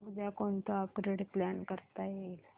उद्या कोणतं upgrade plan करता येईल